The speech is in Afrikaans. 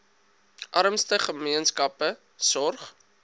armste gemeenskappe sorg